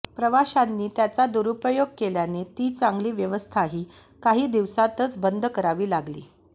प्रवाशांनी त्याचा दुरुपयोग केल्याने ती चांगली व्यवस्थाही काही दिवसांतच बंद करावी लागली